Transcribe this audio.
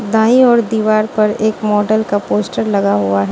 दाएँ ओर दीवार पर एक मॉडल का पोस्टर लगा हुआ।